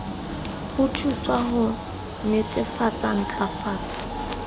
ho thuswa ho netefatsa ntlafatso